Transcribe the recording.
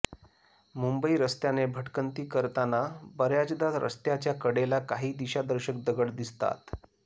मुंबई रस्त्याने भटकंती करताना बऱ्याचदा रस्त्याच्या कडेला काही दिशादर्शक दगड दिसतात